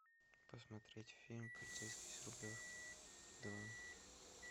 посмотреть фильм полицейский с рублевки два